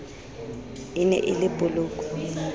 e ne e le polokwe